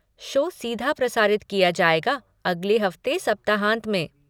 Show सीधा प्रसारित किया जाएगा अगले हफ़्ते सप्ताहांत मे।